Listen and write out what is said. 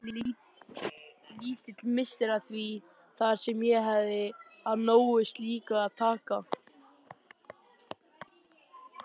Lítill missir að því þar sem ég hefði af nógu slíku að taka.